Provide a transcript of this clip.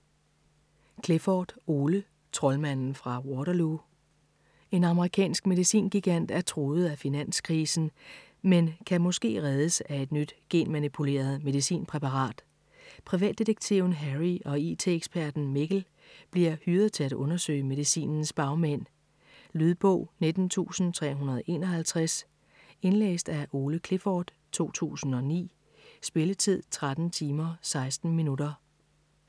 Clifford, Ole: Troldmanden fra Waterloo En amerikansk medicingigant er truet af finanskrisen, men kan måske reddes af et nyt genmanipuleret medicinpræparat. Privatdetektiven Harry og IT-eksperten Mikkel bliver hyret til at undersøge medicinens bagmænd. Lydbog 19351 Indlæst af Ole Clifford, 2009. Spilletid: 13 timer, 16 minutter.